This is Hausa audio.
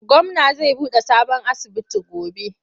Gwamna za buɗe sabon asibiti gobe.